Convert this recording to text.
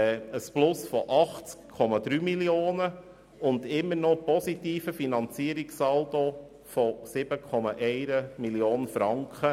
Der Finanzierungssaldo für das Jahr 2018 wäre immer noch positiv, und zwar läge er bei 7,1 Mio. Franken.